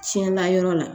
Tiɲɛna yɔrɔ la